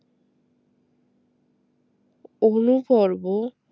অনুপর্ব